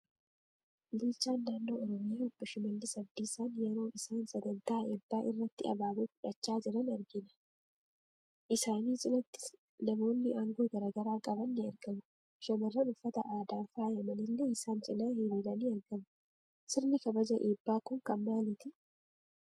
Bulchaan naannoo Oromiyaa obbo Shimallis Abdiisaan yeroo isaan saganttaa eebbaa irratti abaaboo fudhachaa jiran arginaa. Isaanii cinaattis namoonni aangoo garaagaraa qaban ni argamuu. Shamarran uffata aadaan faayaman illee isan cina hiriiranii argamuu. Sirni kabaja eebbaa kun kan maaliitii?